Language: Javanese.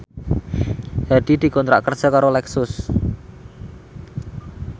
Hadi dikontrak kerja karo Lexus